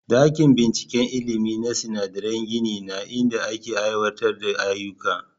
Dakin binciken ilimi na sinadarai gini ne inda ake aiwatar da ayyuka.